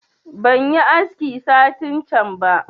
Ban yi aski satin can ba